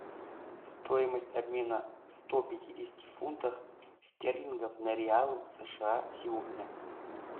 стоимость обмена сто пятидесяти фунтах стерлингов на реалы сша сегодня